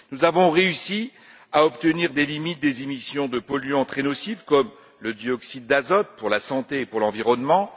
Nous avons réussi à obtenir des limites des émissions de polluants très nocifs, comme le dioxyde d'azote, pour la santé et pour l'environnement.